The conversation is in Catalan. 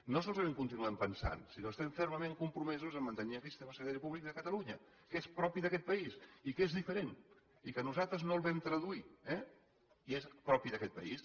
no solament ho continuem pesant sinó que estem fermament compromesos a mantenir aquest sistema sanitari públic de catalunya que és propi d’aquest país i que és diferent i que nosaltres no el vam traduir eh i és propi d’aquest país